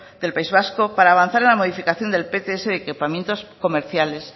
del país vasco para avanzar en la modificación del pts de equipamientos comerciales